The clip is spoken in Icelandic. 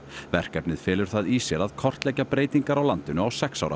verkefnið felur það í sér að kortleggja breytingar á landinu á sex ára